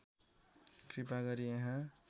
कृपा गरी यहाँ